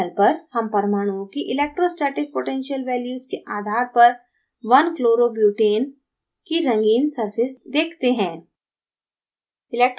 panel पर हम परमाणुओं की electrostatic potential values के आधार पर 1chloro butane की रंगीन surface देखते हैं